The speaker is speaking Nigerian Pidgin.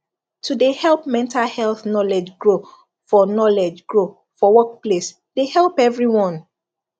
to de help mental health knowlge grow for knowlge grow for workplace de help every one